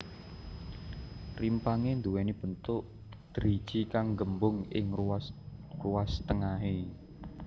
Rimpangé nduwèni bentuk driji kang nggembung ing ruas ruas tengahé